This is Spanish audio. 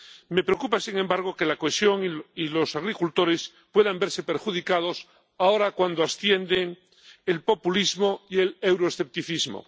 Me preocupa, sin embargo, que la cohesión y los agricultores puedan verse perjudicados ahora, cuando ascienden el populismo y el euroescepticismo.